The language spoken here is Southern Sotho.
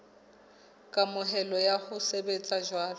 kamohelo ya ho sebetsa jwalo